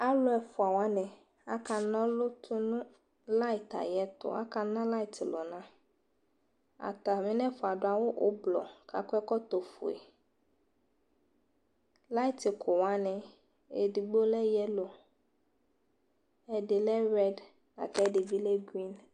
Alʋɛ fua wani akanɔlʋ tʋ nʋ layit ayɛ tʋ, akana liyit lʋ na Atami nɛ fua adu awʋ ʋblʋɔ kakɔ ɛkɔtɔ fue Liyit kʋ wani, edigbo lɛ yɛlo, ɛdi lɛ rɛd la kʋ ɛdi bi lɛ grin